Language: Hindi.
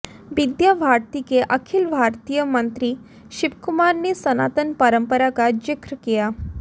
विद्या भारती के अखिल भारतीय मंत्री शिवकुमार ने सनातन परम्परा का जिक्र किया